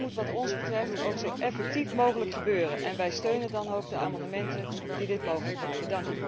Dat moet wat ons betreft ook zo effectief mogelijk gebeuren en wij steunen dan ook de amendementen die dit mogelijk maken.